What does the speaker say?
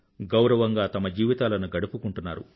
గౌరవంగా తమ జీవితాలను గడుపుకుంటున్నారు